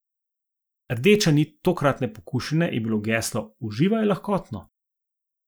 Rdeča nit tokratne pokušine je bilo geslo Uživaj lahkotno.